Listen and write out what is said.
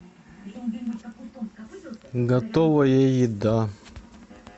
готовая еда